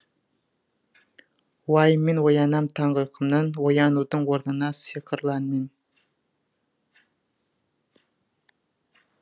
уайыммен оянам таңғы ұйқымнан оянудың орнына сыйқырлы әнмен